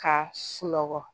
Ka sunɔgɔ